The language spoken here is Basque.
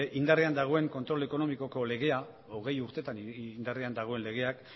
indarrean dagoen kontrol ekonomikoko legea hogei urteetan indarrean dagoen legeak